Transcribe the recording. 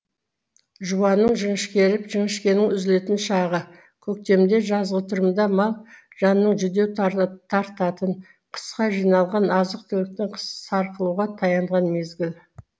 жуанның жіңішкеріп жіңішкенің үзілетін шағы көктемдежазғытұрымда мал жанның жүдеу тартатын қысқа жиналған азық түліктің сарқылуға таянған мезгіл